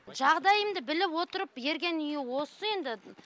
жағдайымды біліп отырып берген үйі осы енді